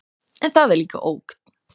En það er líka ógn.